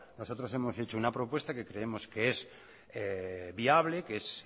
nosotros hemos hecho una propuesta que creemos que es viable que es